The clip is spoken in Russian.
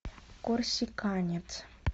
корсиканец